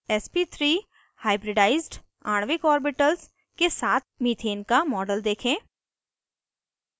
sp3 hybridized आणविक orbitals के साथ मीथेन का मॉडल देखें